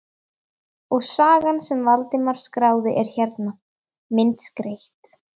Og sagan sem Valdimar skráði er hérna, myndskreytt.